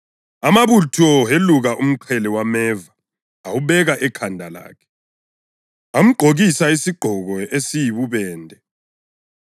Amabutho eluka umqhele wameva awubeka ekhanda lakhe. Amgqokisa isigqoko esiyibubende